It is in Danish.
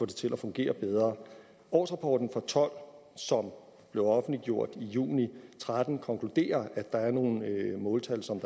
det til at fungere bedre årsrapporten og tolv som blev offentliggjort i juni og tretten konkluderer at der er nogle måltal som